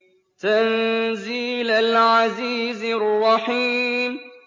تَنزِيلَ الْعَزِيزِ الرَّحِيمِ